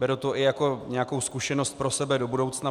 Beru to i jako nějakou zkušenost pro sebe do budoucna.